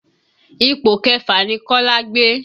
Ipò kẹfà ni Kola gbé